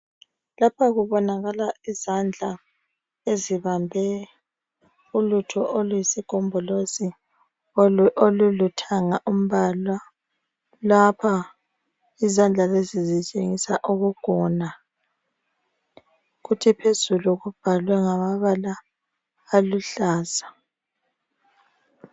Lapha kubonakala izandla ezibambe ulutho oluyisigombolozi olulithanga umbala lapha izandla lezi zitshengisa ukugona kuthi phezulu kubhalwe ngamabala aluhlaza.